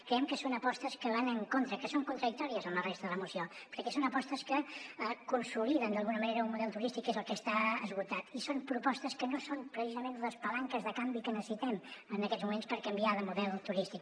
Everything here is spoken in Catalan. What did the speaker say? creiem que són apostes que van en contra que són contradictòries amb la resta de la moció perquè són apostes que consoliden d’alguna manera un model turístic que és el que està esgotat i són propostes que no són precisament les palanques de canvi que necessitem en aquests moments per canviar de model turístic